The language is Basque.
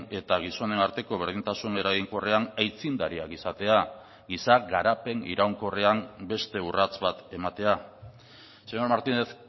eta gizonen arteko berdintasun eraginkorrean aitzindariak izatea giza garapen iraunkorrean beste urrats bat ematea señor martínez